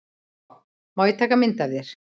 Má ég taka mynd af þér?